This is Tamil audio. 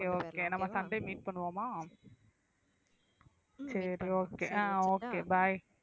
okay okay நம்ம சண்டே meet பண்ணுவோமா சரி okay ஆஹ் okay bye